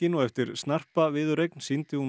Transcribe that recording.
og eftir snarpa viðureign sýndi hún